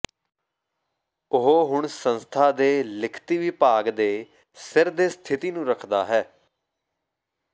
ਉਹ ਹੁਣ ਸੰਸਥਾ ਦੇ ਲਿਖਤੀ ਵਿਭਾਗ ਦੇ ਸਿਰ ਦੇ ਸਥਿਤੀ ਨੂੰ ਰੱਖਦਾ ਹੈ